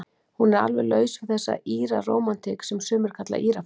Hún er alveg laus við þessa Íra-rómantík, sem sumir kalla Írafár.